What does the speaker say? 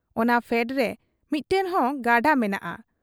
ᱚᱱᱟ ᱯᱷᱮᱰᱨᱮ ᱢᱤᱫᱴᱟᱹᱝ ᱦᱚᱸ ᱜᱟᱰᱟ ᱢᱮᱱᱟᱜ ᱟ ᱾